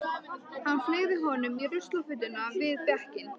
Hann fleygði honum í ruslafötuna við bekkinn.